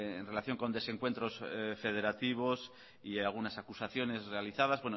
en relación con desencuentros federativos y algunas acusaciones realizadas